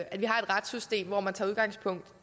man